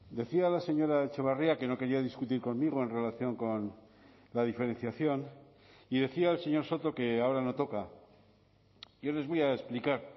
decía la señora etxebarria que no quería discutir conmigo en relación con la diferenciación y decía el señor soto que ahora no toca yo les voy a explicar